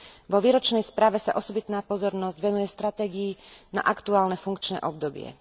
Vo výročnej správe sa osobitná pozornosť venuje stratégii na aktuálne funkčné obdobie.